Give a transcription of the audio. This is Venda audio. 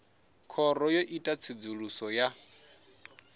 khoro yo ita tsedzuluso ya